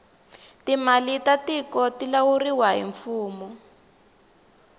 timali ta tiku ti lawuriwa hi mfumo